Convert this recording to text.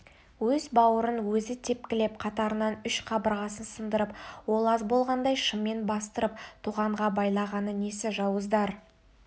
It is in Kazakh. өз бауырын өзі тепкілеп қатарынан үш қабырғасын сындырып ол аз болғандай шыммен бастырып тоғанға байлағаны несі жауыздар